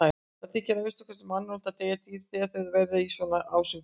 Það þykir að minnsta kosti mannúðlegt að deyða dýr þegar þau eru í svona ásigkomulagi.